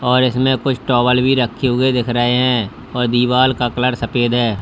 और इसमें कुछ टॉवल भी रख दिख रहे हैं और दीवार का कलर सफेद है।